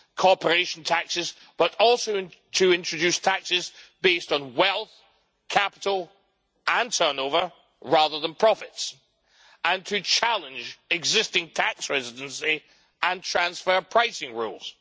corporation taxes, but also to introduce taxes based on wealth, capital and turnover, rather than profits, and to challenge existing tax residency and transfer pricing rules.